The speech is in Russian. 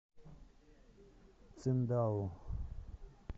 циндао